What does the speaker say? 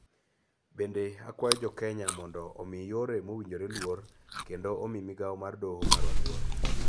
�Bende, akwayo jo Kenya duto mondo omi yore mowinjore luor, kendo omi migao mar doho marwa luor.�